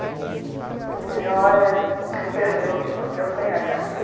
Falei para ele, olha, o senhor perdeu, porque eu tenho a carteira.